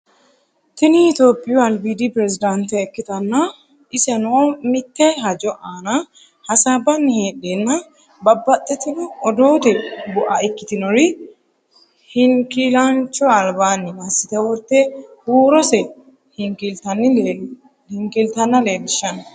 tini topiyu albiidi piresidaantitte ikkitanna, iseno mitte hajo aana hasaabbani heedheenna babbaxitino odoote bu'a ikkitinori hinkiilaancho albaanni massite worte huurose hinkiiltanna leelishshanno.